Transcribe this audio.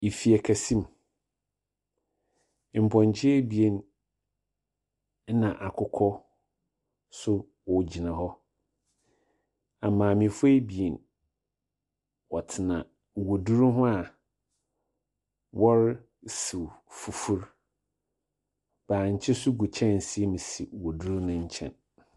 Efie kɛse mu, mpɔnkye ebien na akokɔ nso wɔ gyina hɔ. Na maamefoɔ ebien , wɔtena waduro ho a, wɔre siw fufu, bankye nso gu kyɛnsee mu si waduro no nkyɛn.